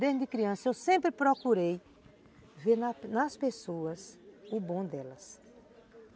Desde criança eu sempre procurei ver nas nas pessoas o bom delas.